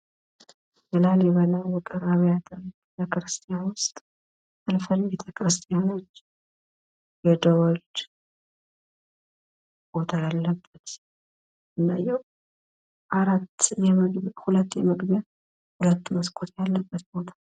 ላሊበላ ዉቅር አብያተ ክርስቲያን ዉስጥ ከቤተከርስቲያን ለደወል ቦታ ያለበት ሁለት የመግቢያ እና ሁለት የመስኮት ያለበት ቦታ።